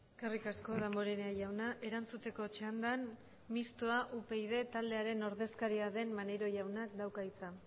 eskerrik asko damborenea jauna erantzuteko txandan mistoa upyd taldearen ordezkaria den maneiro jaunak dauka hitza